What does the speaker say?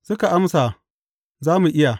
Suka amsa, Za mu iya.